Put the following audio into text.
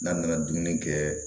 N'a nana dumuni kɛ